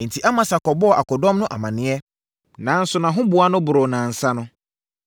Enti, Amasa kɔbɔɔ akodɔm no amaneɛ, nanso nʼahoboa no boroo nnansa no.